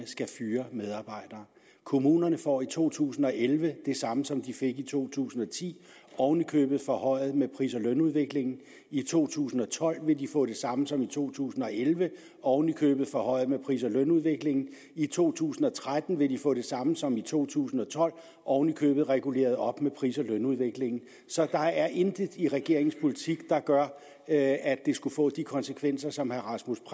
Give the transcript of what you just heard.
skal fyre medarbejdere kommunerne får i to tusind og elleve det samme som de fik i to tusind og ti oven i købet forhøjet med pris og lønudviklingen i to tusind og tolv vil de få det samme som i to tusind og elleve oven i købet forhøjet med pris og lønudviklingen i to tusind og tretten vil de få det samme som i to tusind og tolv oven i købet reguleret op med pris og lønudviklingen så der er intet i regeringens politik der gør at det skulle få de konsekvenser som herre rasmus